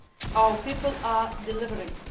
others. Our people are delivering.